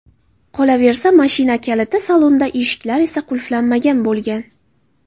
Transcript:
Qolaversa, mashina kaliti salonda, eshiklar esa qulflanmagan bo‘lgan.